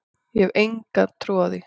Ég hef enga trú á því,